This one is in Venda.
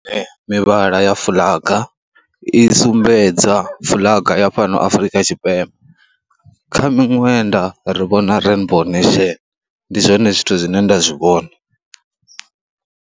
Mivhala ya fuḽaga i sumbedza fuḽaga ya fhano Afrika Tshipembe, kha miṅwenda ri vhona rainbow nation. Ndi zwone zwithu zwine nda zwi vhona.